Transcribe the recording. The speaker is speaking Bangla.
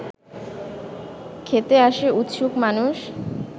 খেতে আসে উৎসুক মানুষ